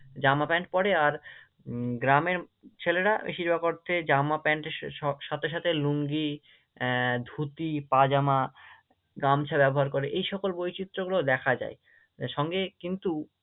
pant পড়ে আর উম গ্রামের ছেলেরা বেশিরভাগ অর্থে জামা প্যান্টের সাথে সাথে লুঙ্গি আহ ধুতি, পাজামা, গামছা ব্যবহার করে, এই সকল বৈচিত্র্যগুলো দেখা যায়, তা সঙ্গে কিন্তু